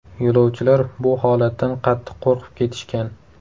Yo‘lovchilar bu holatdan qattiq qo‘rqib ketishgan.